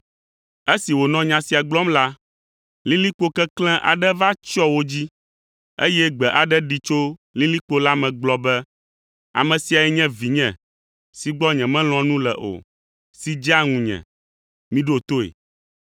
Esi wònɔ nya sia gblɔm la, lilikpo keklẽ aɖe va tsyɔ wo dzi, eye gbe aɖe ɖi tso lilikpo la me gblɔ be, “Ame siae nye Vinye si gbɔ nyemelɔ̃a nu le o, si dzea ŋunye. Miɖo toe.”